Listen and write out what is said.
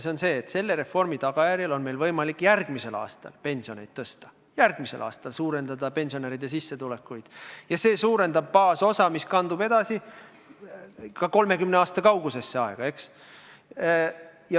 See on see, et reformi tagajärjel on meil järgmisel aastal võimalik pensionit tõsta, suurendada pensionäride sissetulekut ja see suurendab baasosa, mis kandub edasi ka 30 aasta kaugusesse aega, eks ole.